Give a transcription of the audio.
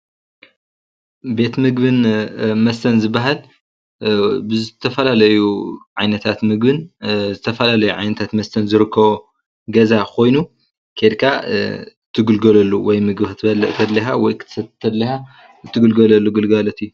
ቤት ምግብን መስተን ዝበሃል ቤት ምግብን መስተን ዝበሃል ብዝተፈላለዩ ዓይነታት ምግብን ዝተፈላለዩ ዓይነት መሥተን ዝርከቦ ገዛ ኾይኑ ኼድካ እትምገበሉ እዩ።